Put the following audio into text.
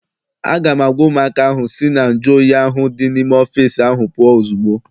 A ga m agwa ụmụaka ahụ ka sị na nju oyi ahụ dị n'ime ọfịịsi ahụ pụọ ozugbo!